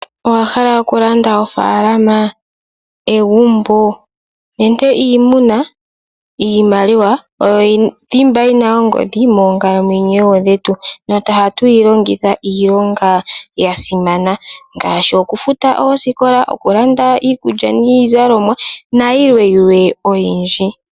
Owahala okulanda ofaalama, egumbo, nenge iimuna? Iimaliwa oyo iithimba yina ongodhi moonkalamwenyo dhetu. Ohatuyi longitha iilonga ya simana, ngaashi okufuta oosikola, okulanda iikulya niizalomwa, nayilwe oyindji.